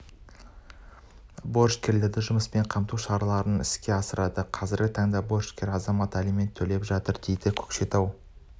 борышкерлерді жұмыспен қамту шараларын іске асырады қазіргі таңда борышкер азамат алимент төлеп жатыр дейді көкшетау